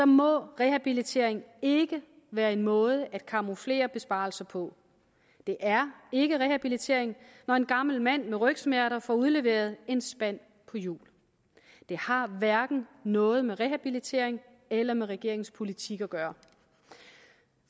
må rehabilitering ikke være en måde at camouflere besparelser på det er ikke rehabilitering når en gammel mand med rygsmerter får udleveret en spand på hjul det har hverken noget med rehabilitering eller med regeringens politik at gøre